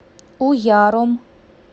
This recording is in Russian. уяром